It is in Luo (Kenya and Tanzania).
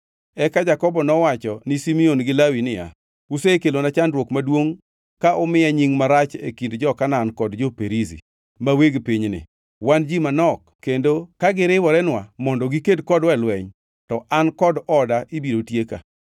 Eka Jakobo nowacho ne Simeon gi Lawi niya, “Usekelona chandruok maduongʼ ka umiya nying marach e kind jo-Kanaan kod jo-Perizi, ma weg pinyni. Wan ji manok, kendo kagiriworenwa mondo giked kodwa e lweny, to an kod oda ibiro tieka.”